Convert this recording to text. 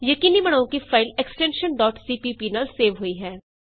ਯਕੀਨੀ ਬਣਾਉ ਕਿ ਫਾਈਲ ਐਕਸਟੈਨਸ਼ਨ cpp ਨਾਲ ਹੋਈ ਹੇ